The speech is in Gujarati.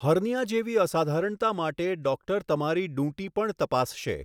હર્નીયા જેવી અસાધારણતા માટે ડોક્ટર તમારી ડૂંટી પણ તપાસશે.